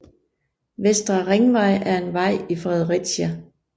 Vestre Ringvej er en vej i Fredericia